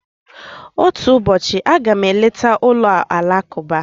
Otu ụbọchị, a ga m eleta ụlọ alakụba.